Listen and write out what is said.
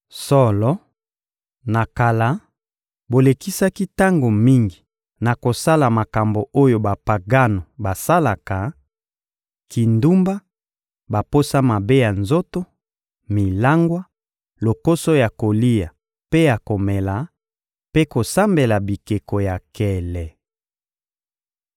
Solo, na kala, bolekisaki tango mingi na kosala makambo oyo Bapagano basalaka: kindumba, baposa mabe ya nzoto, milangwa, lokoso ya kolia mpe ya komela, mpe kosambela bikeko ya nkele.